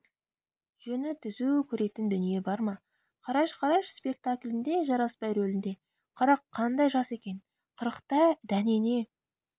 жөні түзу көретін дүние бар ма қараш-қараш спектаклінде жарасбай рөлінде қырық қандай жас екен қырықта дәнеңе